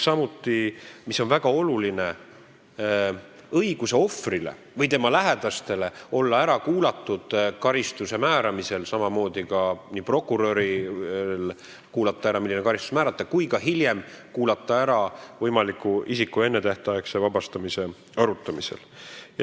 Samuti on väga oluline ohvri või tema lähedaste õigus olla kohtus ära kuulatud karistuse määramisel ja ka hiljem, isiku võimaliku ennetähtaegse vabastamise arutamisel.